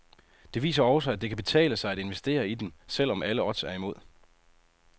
Det viser også, at det kan betale sig at investere i dem, selvom alle odds er imod.